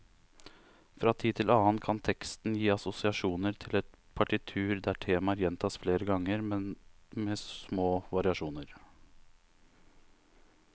Fra tid til annen kan teksten gi assosiasjoner til et partitur der temaer gjentas flere ganger, men med små variasjoner.